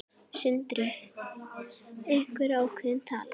Sindri: Einhver ákveðin tala?